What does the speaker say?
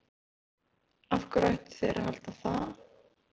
Af hverju ættu þeir að halda það?